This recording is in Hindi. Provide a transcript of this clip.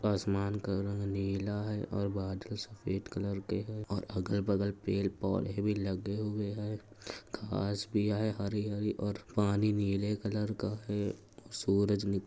आसमान का रंग नीला है और बादल सफेद कलर के हैं और अगल-बगल पेड़ पौधे भी लगे हुए हैं। घांस भी है हरी -हरी और पानी नीले कलर का है और सूरज निक --